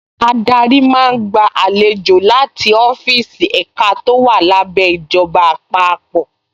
Adarí máa gba àlejò láti ọ́fíìsì ẹ̀ka tó wà lábẹ́ ìjọba àpapọ̀